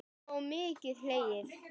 Já og mikið hlegið.